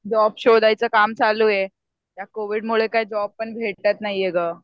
Job शोधायचं काम चालू ये. या कोविडमुळे काही जॉब पण भेटत नाहीये गं.